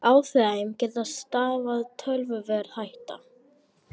Af þeim getu stafað töluverð hætta